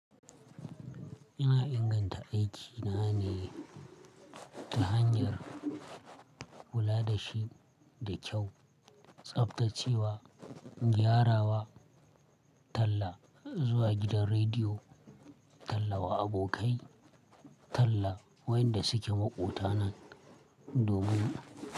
Ina inganta aiki na ne ta hanyar kula da shi da kyau, tsabtace wa, gyara wa, talla zuwa gidan rediyo, talla wa abokai, talla wa inda suke maƙota na domin.